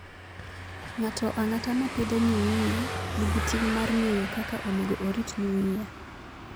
Ng'ato ang'ata ma pidho nyuia nigi ting' mar ng'eyo kaka onego orit nyuia.